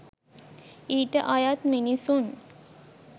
ඊට අයත් මිනිසුන්